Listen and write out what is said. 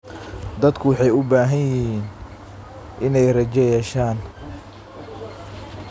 Dadku waxay u baahnaayeen inay rajo yeeshaan.